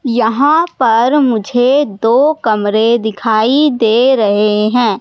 यहां पर मुझे दो कमरे दिखाई दे रहे हैं।